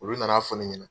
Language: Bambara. Olu nana fɔ ne ɲɛna